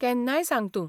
केन्नाय सांग तूं.